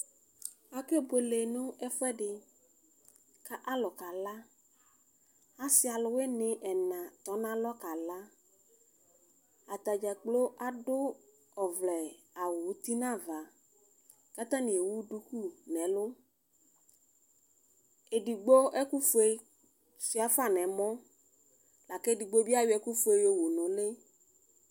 Ake buele nʋ ɛfʋɛdi kʋ alʋ kala asi alʋwini ɛna tɔnʋ alɔ kala atadza gbloo adʋ ɔvlɛawʋ ʋti nʋ ava kʋ atani ewʋ dʋkʋ nʋ ɛlʋ edigbo ɛkʋfue suia fa nʋ ɛmɔ lakʋ edigbo bi ayɔ ɛkʋwɛ yɔwu nʋ ʋli